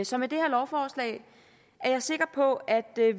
så med det her lovforslag er jeg sikker på at